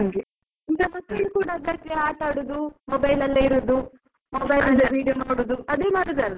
ಈಗ ಮಕ್ಳು ಕೂಡ ಆಟಾಡುದು, mobile ಅಲ್ಲೇ ಇರುದು. mobile ಅಲ್ಲಿ video ನೋಡುದು, ಅದೇ ಮಾಡುದಲ್ವಾ.